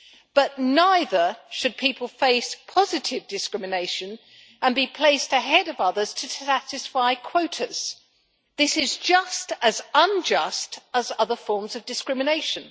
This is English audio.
But neither should people face positive discrimination and be placed ahead of others to satisfy quotas. This is just as unjust as other forms of discrimination.